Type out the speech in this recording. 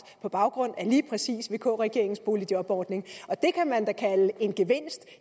på baggrund af lige præcis vk regeringens boligjobordning og det kan man da kalde en gevinst